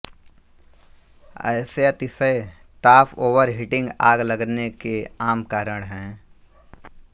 ऐसे अतिशय ताप ओवर हीटिंग आग लगने के आम कारण हैं